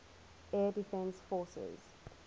air defense forces